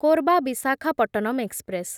Korba Visakhapatnam express